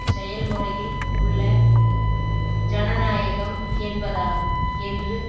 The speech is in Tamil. செயல் முறையில் உள்ள ஜனநாயகம் என்பதாகும் என்று